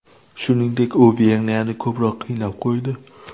Shuningdek, u Vengriyani ko‘proq qiynab qo‘ydi.